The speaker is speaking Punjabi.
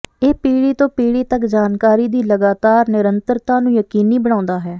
ਇਹ ਪੀੜ੍ਹੀ ਤੋਂ ਪੀੜ੍ਹੀ ਤੱਕ ਜਾਣਕਾਰੀ ਦੀ ਲਗਾਤਾਰ ਨਿਰੰਤਰਤਾ ਨੂੰ ਯਕੀਨੀ ਬਣਾਉਂਦਾ ਹੈ